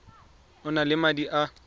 o nang le madi a